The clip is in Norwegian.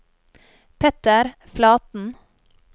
Petter Flaten